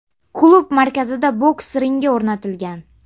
Klub markazida boks ringi o‘rnatilgan.